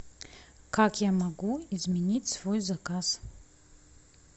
как я могу изменить свой заказ